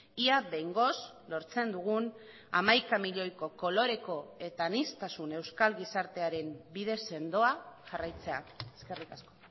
ia behingoz lortzen dugun hamaika milioiko koloreko eta aniztasun euskal gizartearen bide sendoa jarraitzea eskerrik asko